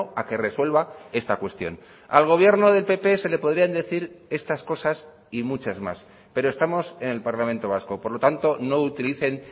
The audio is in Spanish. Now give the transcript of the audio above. a que resuelva esta cuestión al gobierno del pp se le podrían decir estas cosas y muchas más pero estamos en el parlamento vasco por lo tanto no utilicen